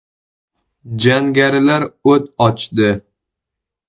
Jangarilar o‘t ochdi.